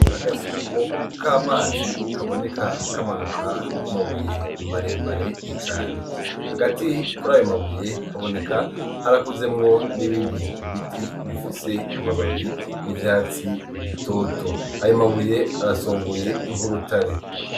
Agasumo k' amazi kaboneka kamanuka kumabuye marembare cane hagati kuri ayomabuye kaboneka harakuzemwo n'ibindi ibiti bifise amababi y'ivyatsi ibitoto ayomabuye arasonguye inkeurutare.